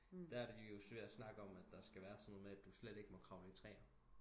Der er de jo ved at snakke om at der skal være noget med du slet ikke må klatre i træer